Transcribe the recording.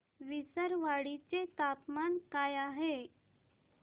विसरवाडी चे तापमान काय आहे